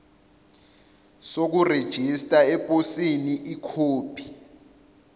sokurejista eposini ikhophi